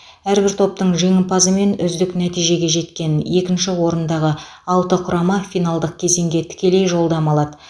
әрбір топтың жеңімпазы мен үздік нәтижеге жеткен екінші орындағы алты құрама финалдық кезеңге тікелей жолдама алады